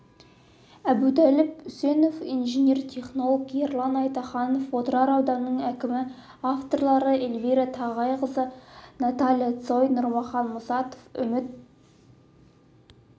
әбутәліп үсенов инженер-технолог ерлан айтаханов отырар ауданының әкімі авторлары эльвира тағайқызы наталья цой нұрмахан мұсатов үміт